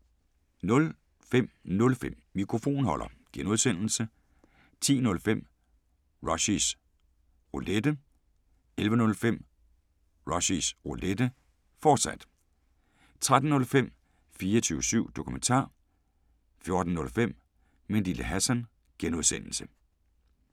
05:05: Mikrofonholder (G) 10:05: Rushys Roulette 11:05: Rushys Roulette, fortsat 13:05: 24syv Dokumentar 14:05: Min Lille Hassan (G)